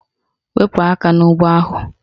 Wepu aka n'ụgbọ ahụ!